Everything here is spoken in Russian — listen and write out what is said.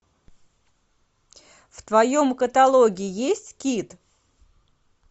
в твоем каталоге есть кит